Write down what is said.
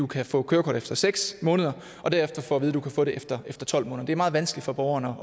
kan få et kørekort efter seks måneder og derefter får at vide at du kan få det efter tolv måneder det er meget vanskeligt for borgerne